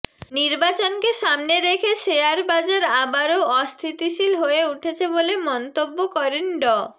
নির্বাচনকে সামনে রেখে শেয়ারবাজার আবারও অস্থিতিশীল হয়ে উঠেছে বলে মন্তব্য করেন ড